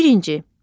Birinci.